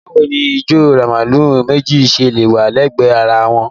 Báwo ni ìjọ Rìdíìmù méjì ṣe wà lẹ́gbẹ̀ẹ́ ara wọn?